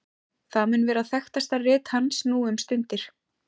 það mun vera þekktasta rit hans nú um stundir